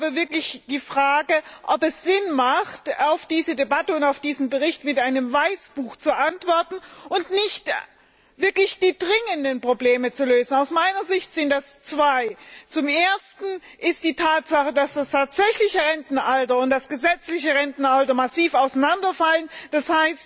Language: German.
Ich stelle die Frage, ob es Sinn macht, auf diese Debatte und auf diesen Bericht mit einem Weißbuch zu antworten und nicht stattdessen die wirklich dringenden Probleme zu lösen. Aus meiner Sicht sind das zwei zum Ersten die Tatsache, dass das tatsächliche Rentenalter und das gesetzliche Rentenalter massiv auseinanderfallen, d.